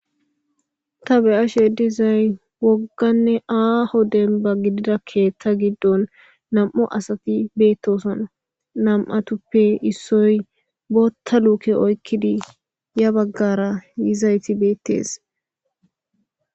Ta beyashe dizay wogganne aa hoden ba gididakkeetta giddon nam7o asati beettosona nam7atuppe issoy bootta luuke oykkidi ya baggara yizayti beettees.